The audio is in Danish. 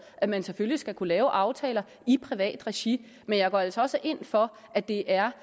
at man selvfølgelig skal kunne lave aftaler i privat regi men jeg går altså også ind for at det er